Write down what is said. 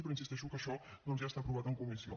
però hi insisteixo que això doncs ja està aprovat en comissió